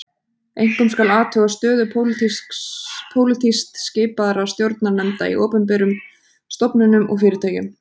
Einkum skal athuga stöðu pólitískt skipaðra stjórnarnefnda í opinberum stofnunum og fyrirtækjum.